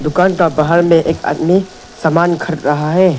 दुकान का बाहर में एक आदमी सामान खरीद रहा है।